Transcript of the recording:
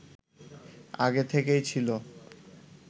আগে থেকেই ছিল